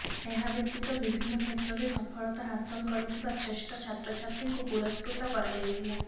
ଏହା ବ୍ୟତୀତ ବିଭିନ୍ନ କ୍ଷେତ୍ରରେ ସଫଳତା ହାସଲ କରିଥିବା ଶ୍ରେଷ୍ଠ ଛାତ୍ରଛାତ୍ରୀଙ୍କୁ ପୁରସ୍କୃତ କରାଯାଇଥିଲା